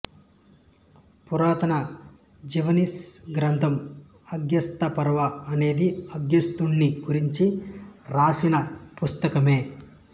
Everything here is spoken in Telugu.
పురాతన జావనీస్ గ్రంథం అగస్త్యపర్వ అనేది అగస్త్యుని గురించి రాసిన పుస్తకమే